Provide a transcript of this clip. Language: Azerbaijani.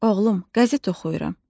Oğlum, qəzet oxuyuram.